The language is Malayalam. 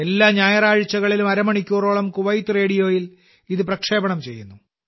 എല്ലാ ഞായറാഴ്ചകളിലും അരമണിക്കൂറോളം 'കുവൈത്ത് റേഡിയോ'യിൽ ഇത് പ്രക്ഷേപണം ചെയ്യുന്നു